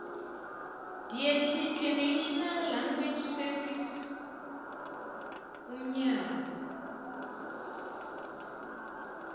ndearticlenational language servicesumnyango